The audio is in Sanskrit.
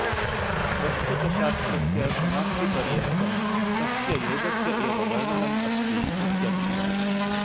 प्रस्तुतशास्त्रस्य समाप्तिपर्यन्तं तस्य योगस्य एव वर्णनम् अस्ति इत्यर्थः